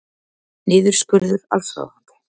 Niðurskurður allsráðandi